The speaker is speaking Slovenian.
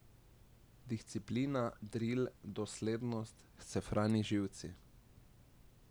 Disciplina, dril, doslednost, scefrani živci.